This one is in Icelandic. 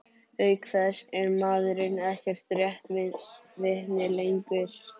Auk þess er maðurinn ekkert réttarvitni lengur.